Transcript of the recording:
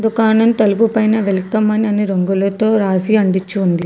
ఒకాన తలుపు పైన వెల్కమ్ అని రంగులతో రాసి అంటిచ్చి ఉంది.